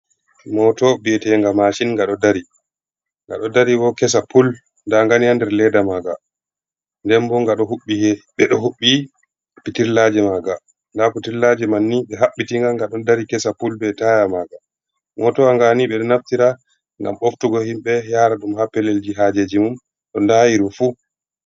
Moto bi'eteenga maacin, nga ɗo dari, nga ɗo dari bo kesa pul, ndaa nga ni haa nder leeda maaga. Nden bo ɓe ɗo huɓɓi pitillaaje maaga, ndaa pitillaaje man ni, ɓe haɓɓitinga, nga ɗon dari kesa pul, be taaya maaga. Motowa nga ni, ɓe ɗo naftira ngam ɓoftugo himɓe, yaara ɗum haa pellelji haajeeji mum, no ndaayiri fu.